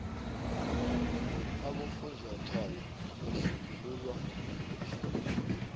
abofunjathwako batjhugululwa ngemihla